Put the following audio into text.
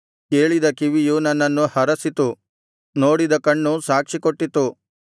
ಕೇಳಿದ ಕಿವಿಯು ನನ್ನನ್ನು ಹರಸಿತು ನೋಡಿದ ಕಣ್ಣು ಸಾಕ್ಷಿ ಕೊಟ್ಟಿತು